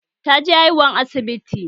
Ta je haihuwa asibiti